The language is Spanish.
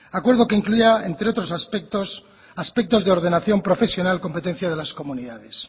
acuerdo que incluía entre otros aspecto aspectos de ordenación profesional competencia de las comunidades